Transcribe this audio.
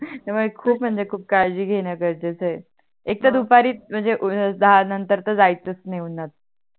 त्या मूळे खूप म्हणजे खूप काळजी घेणे गरजेच आहे एक तर दुपारी म्हणजे दहा नंतर तर जायच नाही उणाहात